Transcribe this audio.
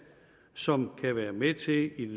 som kan være med til